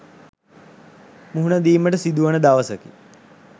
මුහුණ දීමට සිදුවන දවසකි.